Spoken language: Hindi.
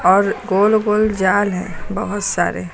और गोल गोल जाल है बहुत सारे।